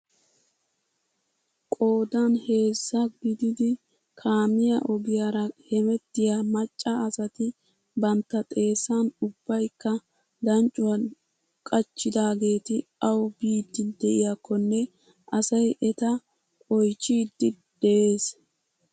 Qoodan heezza gididi kaamiyaa ogiyaara hemettiyaa macca asati bantta xeessan ubbaykka danccuwaa qachchidaageti awu biidi de'iyaakonne asay eta oychchiidi de'ees.